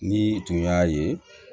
Ni tun y'a ye